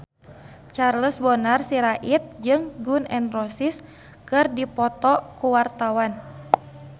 Charles Bonar Sirait jeung Gun N Roses keur dipoto ku wartawan